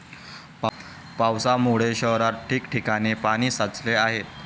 पावसामुळे शहरात ठिकठिकाणी पाणी साचले आहे.